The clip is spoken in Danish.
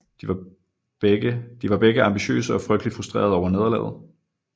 De var begge ambitiøse og frygteligt frustrerede over nederlaget